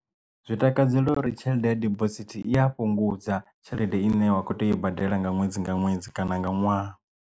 Zwi takadzela uri tshelede ya dibosithi i a fhungudza kana tshelede i ne wa kho tea u badela nga ṅwedzi nga ṅwedzi kana nga ṅwaha.